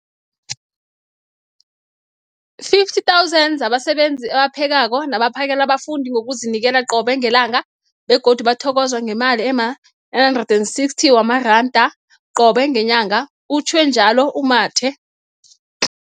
50 000 zabasebenzi abaphekako nabaphakela abafundi ngokuzinikela qobe ngelanga, begodu bathokozwa ngemali ema-960 wamaranda qobe ngenyanga, utjhwe njalo u-Mathe.